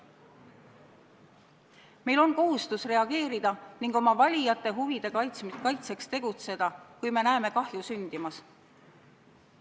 Meil on kohustus reageerida ning oma valijate huvide kaitseks tegutseda, kui me näeme kahju sündimas.